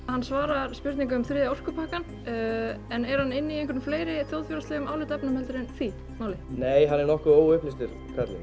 hann svarar spurningum um þriðja orkupakkann en er hann inni í einhverjum fleiri þjóðfélagsmálum en því nei hann er nokkuð óupplýstur